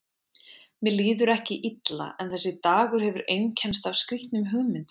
Mér líður ekki illa en þessi dagur hefur einkennst af skrýtnum hugmyndum.